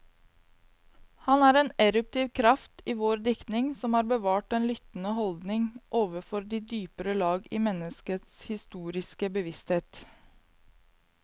Han er en eruptiv kraft i vår diktning, som har bevart den lyttende holdning overfor de dypere lag i menneskets historiske bevissthet.